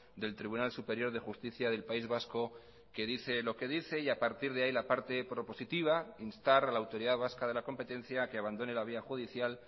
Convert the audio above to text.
del tribunal superior de justicia del país vasco que dice lo que dice y a partir de ahí la parte propositiva instar a la autoridad vasca de la competencia a que abandone la vía judicial